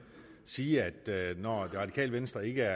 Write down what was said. sige at når det radikale venstre ikke